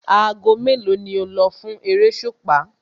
Aago mélòó ni o lọ fún eréṣùpá?